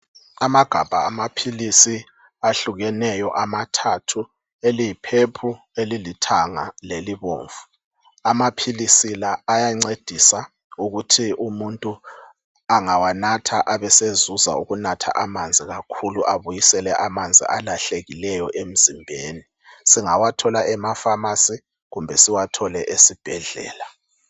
Amagabha amaphilisi ahlukeneyo amathathu. Eliyiphepulu, elilithanga lelibomvu. Amaphilisi la ayancedisa ukuthi umuntu angawanatha abeseuza ukunatha amanzi kakhulu abuyisele amanzi alahlekileyo emzimbeni. Singawathola emafamasi kumbe siwathole esibhedlela.